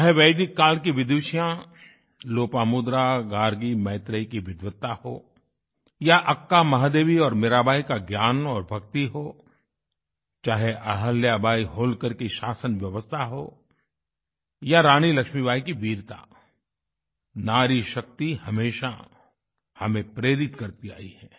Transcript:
चाहे वैदिक काल की विदुषियां लोपामुद्रा गार्गी मैत्रेयी की विद्वता हो या अक्का महादेवी और मीराबाई का ज्ञान और भक्ति हो चाहे अहिल्याबाई होलकर की शासन व्यवस्था हो या रानी लक्ष्मीबाई की वीरता नारी शक्ति हमेशा हमें प्रेरित करती आयी है